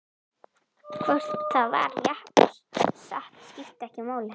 Hvort það var rétt og satt skipti ekki máli.